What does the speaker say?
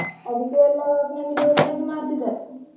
ಅದ್ಕೆ ಎಲ್ಲ family ಒಟ್ಟಾಗಿ ಮಾಡ್ತಿದಾರೆ.